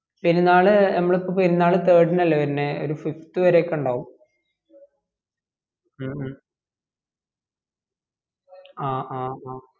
പെരുന്നാള് നമ്മളെ ഇപ്പംപെരുന്നാള് third ന് വരെ അല്ലെ ഉളെ fifth വരെ ഒക്കെ ഇണ്ടാകും മ് മ് ആ ആ ആ